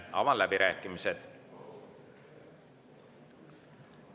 Avan läbirääkimised.